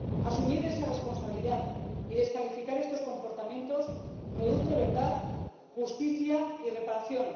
Asumir esa responsabilidad y descalificar estos comportamientos produce verdad, justicia y reparación.